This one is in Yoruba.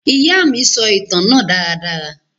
Ìya mi sọ ìtan náà daradara.